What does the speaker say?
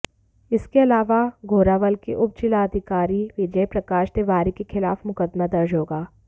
इसके अलावा घोरावल के उपजिलाधिकारी विजय प्रकाश तिवारी के खिलाफ मुकदमा दर्ज होगा